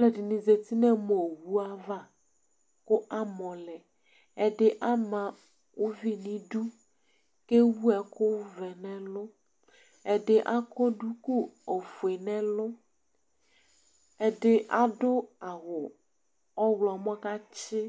Aluɛdini zati nu alu owu ava ku amɔlɛ ɛdi ama uvi nu idu kewu ɛkuvɛ nu ɛlu ɛdi akɔ duku ofue nu ɛlu ɛdi adu awu ɔɣlomɔ katsi